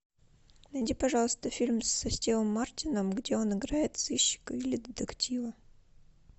найди пожалуйста фильм со стивом мартином где он играет сыщика или детектива